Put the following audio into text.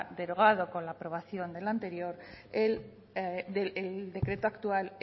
derogado con la aprobado del anterior el decreto actual